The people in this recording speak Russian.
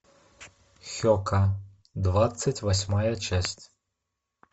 хека двадцать восьмая часть